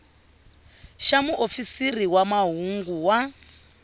xa muofisiri wa mahungu wa